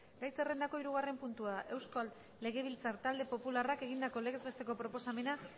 gai zerrendako hirugarren puntua euskal legebiltzar talde popularrak egindako legez besteko proposamena